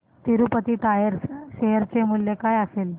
Tirupati tyres share चे मूल्य काय असेल